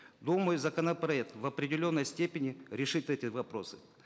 думаю законопроект в определенной степени решит эти вопросы